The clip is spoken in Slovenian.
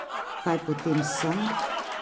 Kaj potem sem?